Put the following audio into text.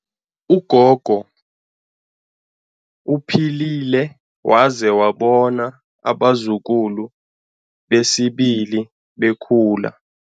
Ugogo uphilile waze wabona abazukulu besibili bekhula.